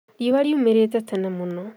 Riũa riumĩrĩte tene mũno